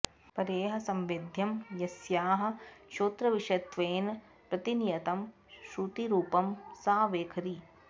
परैः संवेद्यं यस्याः श्रोत्रविषयत्वेन प्रतिनियतं श्रुतिरुपं सा वैखरी